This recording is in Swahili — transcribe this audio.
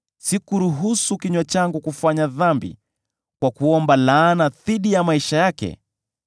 lakini sikuruhusu kinywa changu kufanya dhambi kwa kuomba laana dhidi ya maisha yake;